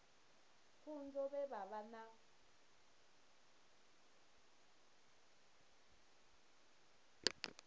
pfunzo vhe vha vha na